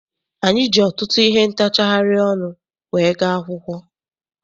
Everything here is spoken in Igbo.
Anyị ji ọtụtụ ihe ntachari ọnụ wee gaa akwụkwọ.